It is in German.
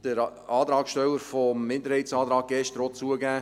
Das hat der Antragsteller des Minderheitsantrags gestern auch zugegeben.